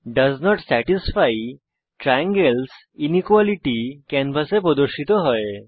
dose not satisfy triangles inequality ক্যানভাসে প্রদর্শিত হয়